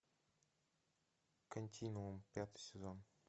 континуум пятый сезон